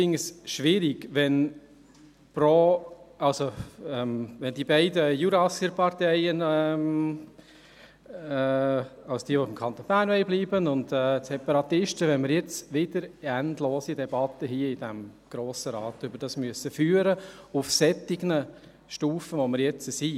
Ich finde es schwierig, wenn wir wegen der beiden Jurassier-Parteien, das heisst, denjenigen, die beim Kanton Bern bleiben wollen, und den Separatisten, wieder in diesem Grossen Rat endlose Debatten über diese Sache führen müssen, auf der Stufe, auf der wir uns jetzt befinden.